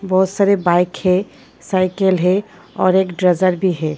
बहुत सारे बाइक है साइकिल है और एक ड्रेजर भी है।